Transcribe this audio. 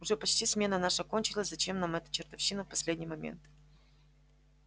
уже почти смена наша кончилась зачем нам эта чертовщина в последний момент